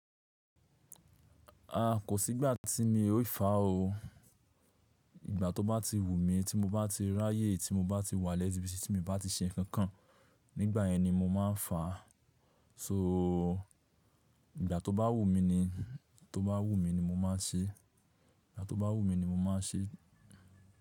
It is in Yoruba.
Kò sí ìgbà tí mi ó yífà o. Ìgbà tó bá ti wù mi, tí mo bá ti rá yé, tí mo bá ti wà lẹ́sì bí si tí mo bá ti ṣe nǹkan kan, nígbà yẹn ni mo máa fà. So ìgbà tó bá wù mi ni, tó bá wù mi ni mo máa ṣe. Ìgbà tó bá wù mi ni mo máa ṣe.